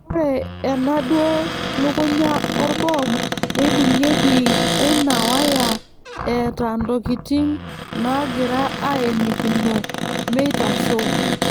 Ore ena duo lukunya orboom neibung'ieki oina waya eeta ntokitin naagira aenikino meitasho.